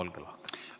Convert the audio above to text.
Olge hea!